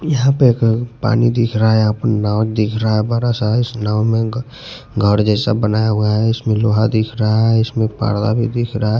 यहां पे एक पानी दिख रहा है यहां पर नाव दिख रहा है बड़ा सा इस नाव में घर जैसा बनाया हुआ है इसमें लोहा दिख रहा है इसमें परदा भी दिख रहा है।